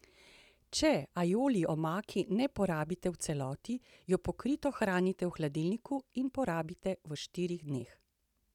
Če aioli omake ne porabite v celoti, jo pokrito hranite v hladilniku in porabite v štirih dneh.